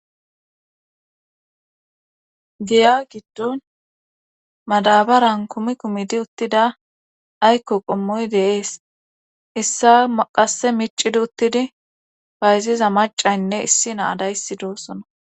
Giya giddon madabaran kumi kumidi uttida aykko qommoy deees issa maqase micidi uttidi fayziza macaynne issi naadayssi doosona.